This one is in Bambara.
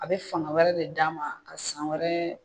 A bɛ fanga wɛrɛ de d'a ma ka san wɛrɛ